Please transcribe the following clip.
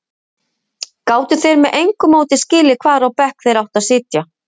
Gátu þeir með engu móti skilið hvar á bekk þeir áttu að sitja?